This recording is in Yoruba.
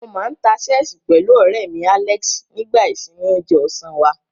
Mo máa ń ta ṣẹ́ẹ̀sì pẹ̀lú ọ̀rẹ́ mi, Alex, nígbà ìsinmi oúnjẹ ọ̀sán wá.